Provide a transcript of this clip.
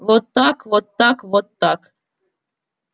вот так вот так вот так